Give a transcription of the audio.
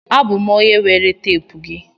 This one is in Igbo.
Abụ m onye were teepu gị.